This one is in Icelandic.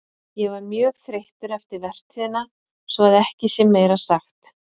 Ég var mjög þreyttur eftir vertíðina svo að ekki sé meira sagt.